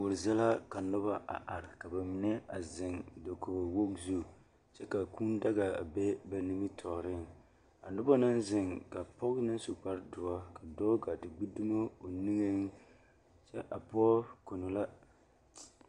Koɔri zie la ka noba a are ka bamine zeŋ dakogi wogi zu ka kaa kūū daga a be ba nimitɔɔre a noba naŋ zeŋ ka pɔge naŋ su kpare doɔ gaa te gbe dumo o niŋe kyɛ a pɔge kono la.